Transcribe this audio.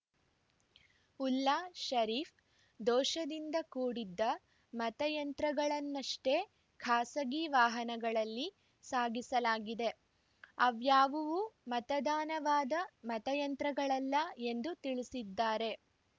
ಉಲ್ಲಾ ಶರೀಫ್‌ ದೋಷದಿಂದ ಕೂಡಿದ್ದ ಮತಯಂತ್ರಗಳನ್ನಷ್ಟೇ ಖಾಸಗಿ ವಾಹನಗಳಲ್ಲಿ ಸಾಗಿಸಲಾಗಿದೆ ಅವ್ಯಾವುವೂ ಮತದಾನವಾದ ಮತಯಂತ್ರಗಳಲ್ಲ ಎಂದು ತಿಳಿಸಿದ್ದಾರೆ